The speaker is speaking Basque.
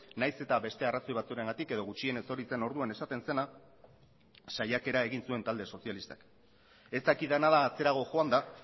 nahiz eta beste arrazoi batzuengatik edo gutxienez hori zen orduan esaten zena saiakera egin zuen talde sozialistak ez dakidana da atzerago joanda